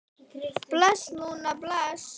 Bless, Lúna, bless.